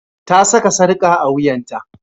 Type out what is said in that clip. Ta saka sarka a wuyanta.